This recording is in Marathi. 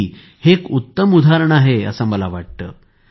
अन्वी हे एक उत्तम उदाहरण आहे असे मला वाटते